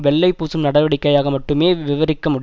வெள்ளை பூசும் நடவடிக்கையாக மட்டுமே விவரிக்க முடி